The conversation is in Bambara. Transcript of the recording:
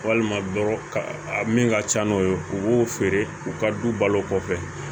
Walima min ka ca n'o ye u b'o feere u ka du balo kɔfɛ